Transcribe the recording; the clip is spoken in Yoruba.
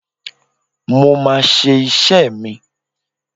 Mo máa ṣe iṣẹ́ mi.